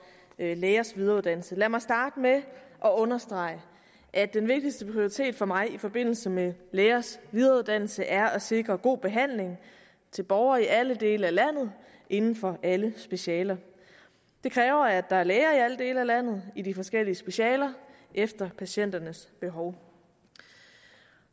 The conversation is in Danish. lægers videreuddannelse lad mig starte med at understrege at den vigtigste prioritet for mig i forbindelse med lægers videreuddannelse er at sikre god behandling til borgere i alle dele af landet inden for alle specialer det kræver at der er læger i alle dele af landet i de forskellige specialer efter patienternes behov